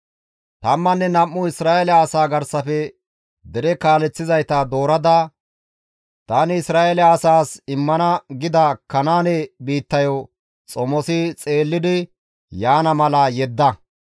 «Tammanne nam7u Isra7eele asaa garsafe dere kaaleththizayta doorada tani Isra7eele asaas immana gida Kanaane biittayo xomosi xeellidi yaana mala yedda.»